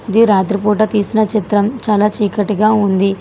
ఇది రాత్రిపూట తీసిన చిత్రం చాలా చీకటిగా ఉంది.